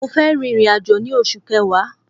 Mo fẹ́ rin ìrìn-àjò ní oṣù kẹwa